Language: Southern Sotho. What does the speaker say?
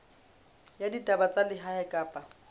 ya ditaba tsa lehae kapa